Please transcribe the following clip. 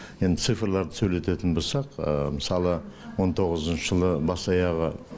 енді цифрларды сөйлететін болсақ мысалы он тоғызыншы жылы бас аяғы